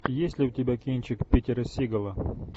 есть ли у тебя кинчик питера сигала